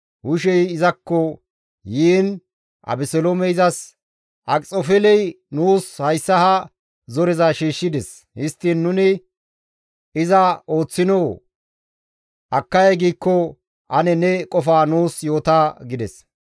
Hushey izakko yiin Abeseloomey izas, «Akxofeeley nuus hayssa ha zoreza shiishshides; histtiin nuni iza ooththinoo? Akkay giikko ane ne qofa nuus yoota» gides.